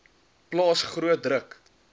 plaas groot druk